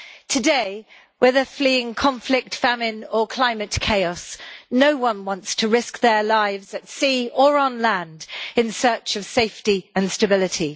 Today, whether fleeing conflict, famine or climate chaos, no one wants to risk their lives at sea or on land in search of safety and stability.